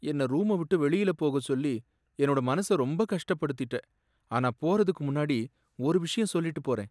என்ன ரூம விட்டு வெளியில போகச் சொல்லி என்னோட மனசை ரொம்ப கஷ்டப்படுத்திட்ட. ஆனா போறதுக்கு முன்னாடி ஒரு விஷயம் சொல்லிட்டுப் போறேன்.